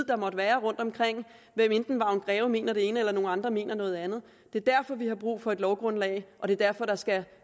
der måtte være rundtomkring til hvad enten vagn greve mener det ene eller nogle andre mener noget andet det er derfor vi har brug for et lovgrundlag og det er derfor der skal